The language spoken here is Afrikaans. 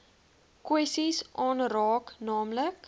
kwessies aanraak naamlik